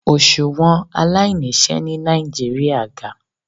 Oṣuwọn alainiṣẹ ni Nigeria ga